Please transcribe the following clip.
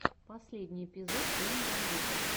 последний эпизод клин бандита